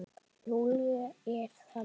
Júlía er þannig.